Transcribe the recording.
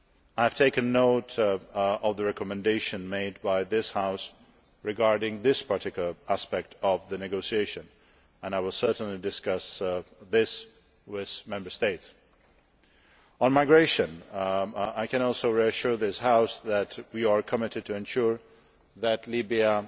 I have taken note of the recommendation made by this House regarding this particular aspect of the negotiation and I will certainly discuss this with Member States. Also on migration, I can reassure this House that we are committed to ensuring that Libya